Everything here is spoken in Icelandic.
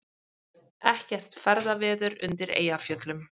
Ekkert ferðaveður undir Eyjafjöllum